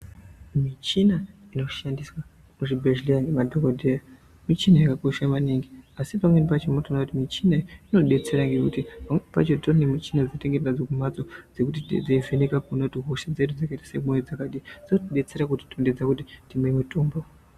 Michina inoshandiswa muzvibhedhleya ngemadhokodheya michina yakakosha maningi. Asi pamweni pacho munotoona kuti michina iyi inodetsera ngekuti pamweni pacho titori nemichina dzatinenge tinadzo kumhatso dzekuti dzinenge dzeivheneka kuona kuti hosha dzedu dzakaita semwoyo dzakadini dzotidetsera kutitondedza kuti timwe mitombo.